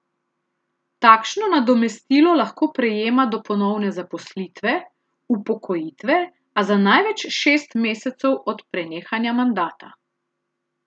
Takšno nadomestilo lahko prejema do ponovne zaposlitve, upokojitve, a za največ šest mesecev od prenehanja mandata.